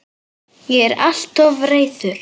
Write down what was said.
Ég er alltof reiður.